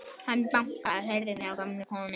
Hann bankaði á hurðina hjá gömlu konunni.